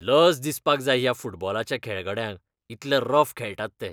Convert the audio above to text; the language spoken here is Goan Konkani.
लज दिसपाक जाय ह्या फुटबॉलाच्या खेळगड्यांक इतले रफ खेळटात ते.